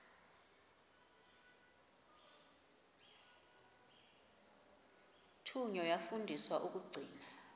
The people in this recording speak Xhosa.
thunywa yafundiswa ukugcina